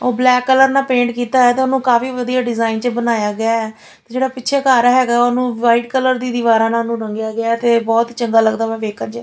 ਉਹ black colour ਨਾਲ paint ਕੀਤਾ ਹੋਇਆ ਤਾਂ ਉਹਨੂੰ ਕਾਫੀ ਵਧੀਆ ਡਿਜ਼ਾਇਨ ਵਿੱਚ ਬਣਾਇਆ ਗਿਆ ਹੈ| ਜਿਹੜਾ ਪਿੱਛੇ ਘਰ ਹੈਗਾ ਉਹਨੂੰ ਵਾਈਟ ਕਲਰ ਦੀ ਦੀਵਾਰਾਂ ਨਾਲ ਉਹ ਰੰਗਿਆ ਗਿਆ ਤੇ ਬਹੁਤ ਚੰਗਾ ਲੱਗਦਾ ਵਾ ਵੇਖਣ ਵਿੱਚ --